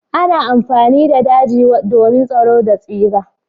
Ana amfani da daje domin tsaro da tsira.